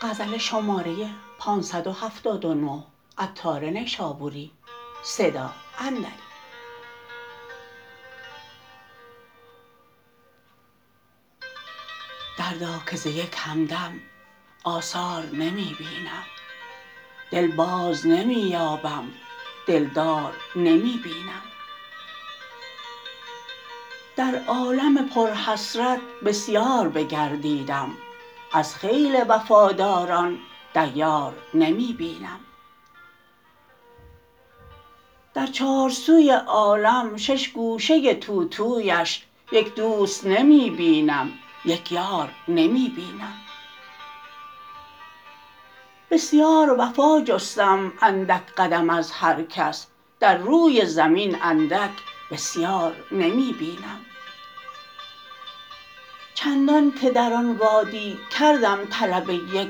دردا که ز یک همدم آثار نمی بینم دل باز نمی یابم دلدار نمی بینم در عالم پر حسرت بسیار بگردیدم از خیل وفاداران دیار نمی بینم در چار سوی عالم شش گوشه توتویش یک دوست نمی بینم یک یار نمی بینم بسیار وفا جستم اندک قدم از هرکس در روی زمین اندک بسیار نمی بینم چندان که در آن وادی کردم طلب یک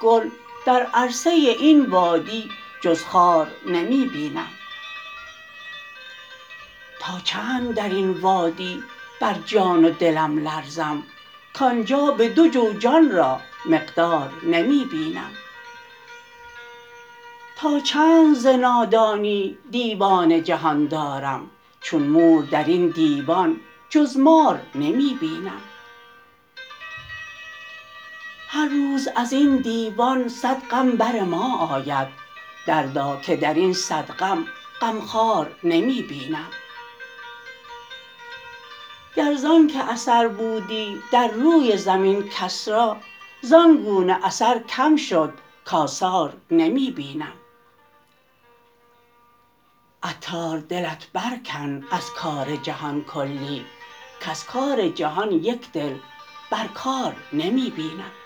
گل در عرصه این وادی جز خار نمی بینم تا چند درین وادی بر جان و دلم لرزم کانجا به دو جو جان را مقدار نمی بینم تا چند ز نادانی دیوان جهان دارم چون مور درین دیوان جز مار نمی بینم هر روز ازین دیوان صد غم برما آید دردا که درین صد غم غمخوار نمی بینم گر زانکه اثر بودی در روی زمین کس را زانگونه اثر کم شد کاثار نمی بینم عطار دلت بر کن از کار جهان کلی کز کار جهان یک دل بر کار نمی بینم